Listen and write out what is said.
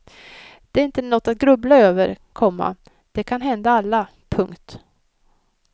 Det är inte något att grubbla över, komma det kan hända alla. punkt